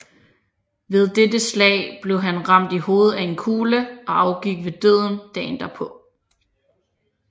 Ved dette slag blev han ramt i hovedet af en kugle og afgik ved døden dagen derpå